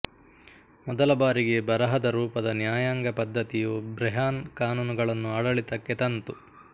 ಮೊದಲಬಾರಿಗೆ ಬರಹದ ರೂಪದ ನ್ಯಾಯಾಂಗ ಪದ್ದತಿಯು ಬ್ರೆಹಾನ್ ಕಾನೂನುಗಳನ್ನು ಆಡಳಿತಕ್ಕೆ ತಂತು